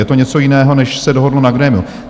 Je to něco jiného, než se dohodlo na grémiu.